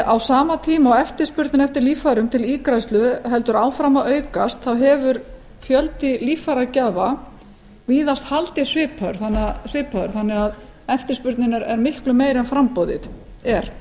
á sama tíma og eftirspurnin eftir líffærum til ígræðslu heldur áfram að aukast þá hefur fjöldi líffæragjafa víða haldist svipaður þannig að eftirspurnin er miklu meiri en framboðið er